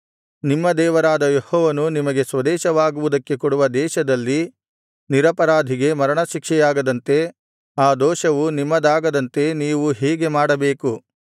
ನಿಮ್ಮ ದೇವರಾದ ಯೆಹೋವನು ನಿಮಗೆ ಸ್ವದೇಶವಾಗುವುದಕ್ಕೆ ಕೊಡುವ ದೇಶದಲ್ಲಿ ನಿರಪರಾಧಿಗೆ ಮರಣಶಿಕ್ಷೆಯಾಗದಂತೆ ಆ ದೋಷವು ನಿಮ್ಮದಾಗದಂತೆ ನೀವು ಹೀಗೆ ಮಾಡಬೇಕು